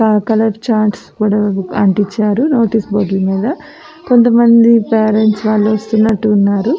Colour charts కూడా అంటిచారు notice board మీద కొంత మంది పేరెంట్స్ వస్తున్నట్టు ఉన్నారు.